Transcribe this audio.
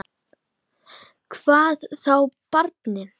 Hvað þá barni.